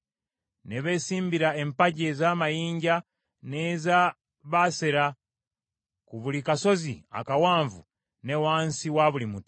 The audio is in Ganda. Ne beesimbira empagi ez’amayinja n’eza Baasera, ku buli kasozi akawanvu, ne wansi wa buli muti.